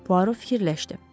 Puaro fikirləşdi.